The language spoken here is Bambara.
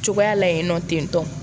Cogoya la yen nɔ tentɔ